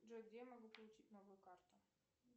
джой где я могу получить новую карту